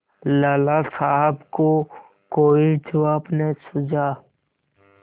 लाला साहब को कोई जवाब न सूझा